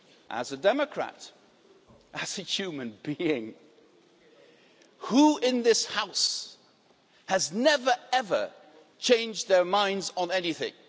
As a democrat, as a human being, who in this House has never ever changed their minds on anything?